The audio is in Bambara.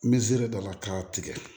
N bɛziri dɔ la k'a tigɛ